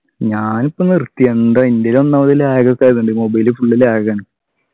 ഞാനിപ്പോ നിർത്തി എന്താ എൻ്റെൽ ഒന്നാമത് lag ഒക്കെ ആയത്കൊണ്ട് mobile full lag ആണ്